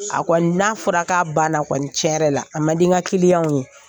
A kɔni n'a fɔra k'a banna kɔni cɛn yƐrƐ la a man di an ka ka ye